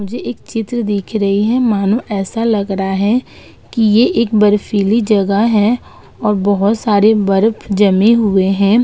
मुझे एक चित्र दिख रही है मानो ऐसा लग रहा है कि ये एक बर्फीली जगह है और बहोत सारे बर्फ जमे हुए है।